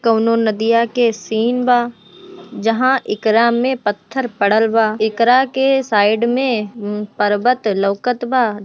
कोनो नदिया के सीन बा जहां इकरा में पत्थर पड़ल बा एकरा के साइड में पर्वत लौकत बा।